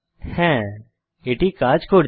হ্যাঁ এটি কাজ করছে